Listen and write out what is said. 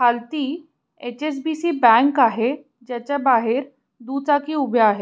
खालती HSBC. Bank आहे जेच बाहेर दुचाकी उभ्या आहेत.